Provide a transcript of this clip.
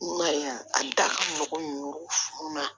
N ka a da ka mɔgɔ ninnu funu